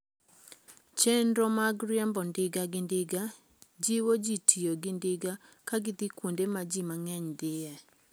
Chenro mag riembo ndiga gi ndiga jiwo ji tiyo gi ndiga ka gidhi kuonde ma ji mang'eny dhiye.